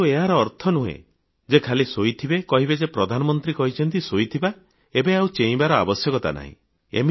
କିନ୍ତୁ ଏହାର ଅର୍ଥ ନୁହେଁ ଯେ ଖାଲି ଶୋଇଥିବେ କାହିଁକି ଯେ ପ୍ରଧାନମନ୍ତ୍ରୀ କହିଛନ୍ତି ଶୋଇଥିବା ଏବେ ଆଉ ଚେଇଁବାର ଆବଶ୍ୟକତା ନାହିଁ